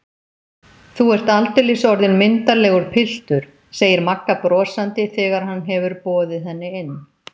Þú ert aldeilis orðinn myndarlegur piltur, segir Magga brosandi þegar hann hefur boðið henni inn.